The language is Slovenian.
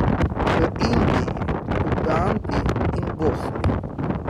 V Indiji, Ugandi in Bosni.